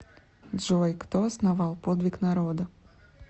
джой кто основал подвиг народа